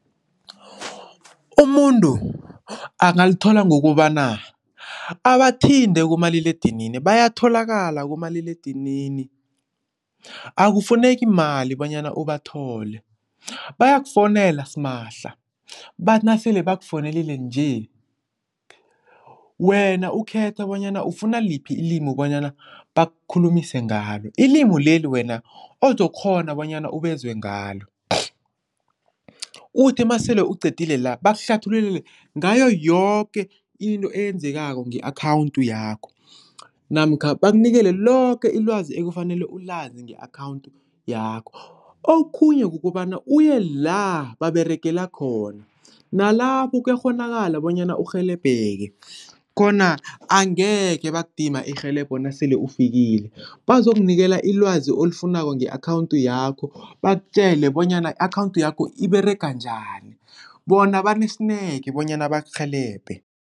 Umuntu angalithola ngokobana abathinte kumaliledinini bayatholakala kumaliledinini, akufuneki mali bonyana ubathole bayakufowunela simahla bathi nasele bakufowunelile nje wena ukhethe bonyana ufuna liphi ilimi bonyana bakukhulumise ngalo. Ilimi leli wena ozokghona bonyana ubezwe ngalo, uthi masele uqedile la bakuhlathululele ngayo yoke into eyenzekako nge-akhawuntu yakho namkha bakunikele loke ilwazi ekufanele ulazi nge-akhawuntu yakho. Okhunye kukobana uye la baberegela khona, nalapho kuyakghonakala bonyana urhelebheke khona angekhe bakudima irhelebho nasele ufikile, bazokunikela ilwazi olifunako nge-akhawuntu yakho bakutjele bonyana i-akhawuntu yakho iberega njani, bona banesineke bonyana bakurhelebhe.